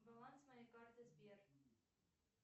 баланс моей карты сбер